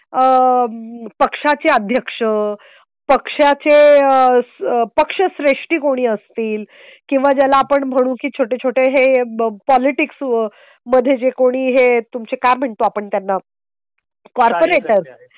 आ पक्षाचे अध्यक्ष पक्षाचे पक्षश्रेष्ठीं कोणी असतील किंवा ज्याला आपण म्हणू की छोटे छोटे हे पॉलिटिक्स मध्ये जे कोणी हे तुमचे काय म्हणतो आपण त्यांना कॉर्पोरेट